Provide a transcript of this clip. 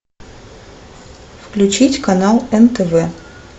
включить канал нтв